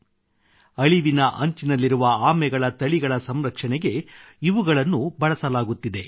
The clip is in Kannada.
ಅಳಿವಿನ ಻಻ಅಂಚಿನಲ್ಲಿರುವ ಆಮೆಗಳ ತಳಿಗಳ ಸಂರಕ್ಷಣೆಗೆ ಇವುಗಳನ್ನು ಬಳಸಲಾಗುತ್ತಿದೆ